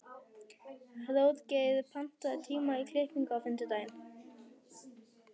Hróðgeir, pantaðu tíma í klippingu á fimmtudaginn.